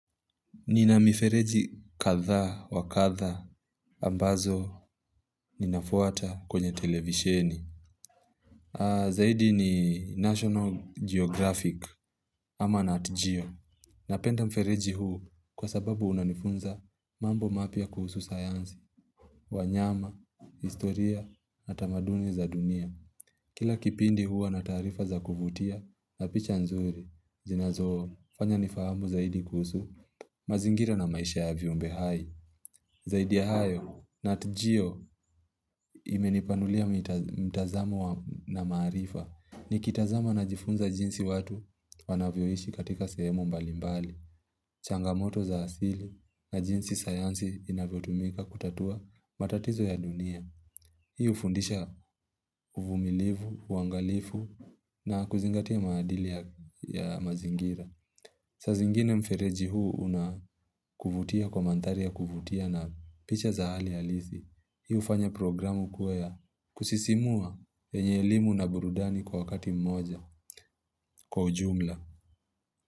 Nina mifereji kadhaa wa kadha ambazo ninafuata kwenye televisheni. Zaidi ni National Geographic ama Nat Geo. Napenda mfereji huu kwa sababu unanifunza mambo mapya kuhusu sayansi, wanyama, historia, utamaduni za dunia. Kila kipindi huwa na taarifa za kuvutia na picha nzuri, zinazo fanya nifahamu zaidi kuhusu mazingira na maisha ya viumbe hai. Zaidi ya hayo Nat Geo imenipanulia mtazamo wangu na maarifa. Nikitazama najifunza jinsi watu wanavyoishi katika sehemu mbalimbali. Changamoto za asili na jinsi sayansi inavyotumika kutatua matatizo ya dunia. Hii hufundisha uvumilivu, uangalifu na kuzingatia maadili ya mazingira. Sazingine mfereji huu unavutia kwa mandhari ya kuvutia na picha za hali alisi. Hii ufanya programu kuwa ya kusisimua yenye elimu na burudani kwa wakati mmoja kwa ujumla.